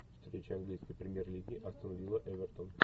встреча английской премьер лиги астон вилла эвертон